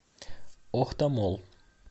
охта молл